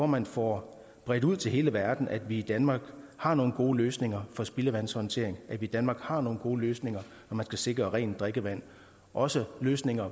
man får bredt ud til hele verden at vi i danmark har nogle gode løsninger for spildevandshåndtering og at vi i danmark har nogle gode løsninger når man skal sikre rent drikkevand også løsninger